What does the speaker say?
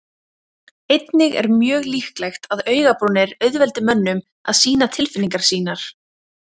Einnig er mjög líklegt að augabrúnir auðveldi mönnum að sýna tilfinningar sínar.